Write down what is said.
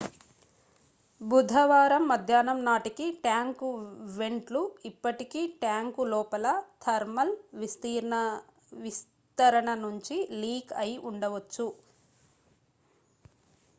బుధవారం మధ్యాహ్నం నాటికి ట్యాంకు వెంట్ లు ఇప్పటికీ ట్యాంకు లోపల థర్మల్ విస్తరణ నుంచి లీక్ అయి ఉండవచ్చు